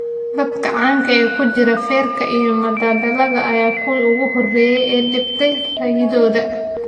Dadka caanka ah ee ku jira feerka, iyo madadaalada ayaa ahaa kuwii ugu horreeyay ee dhiibtay ra'yigooda.